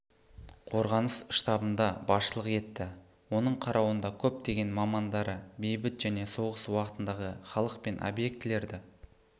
қорғаныс штабында басшылық етті оның қарауында көптеген мамандары бейбіт және соғыс уақытындағы халық пен обьектілерді